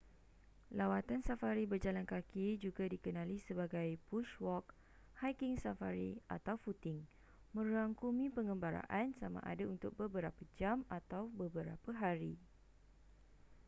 lawatan safari berjalan kaki juga dikenali sebagai bush walk” hiking safari” atau footing” merangkumi pengembaraan sama ada untuk beberapa jam atau beberapa hari